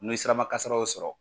N'o ye sirabakasaraw sɔrɔ,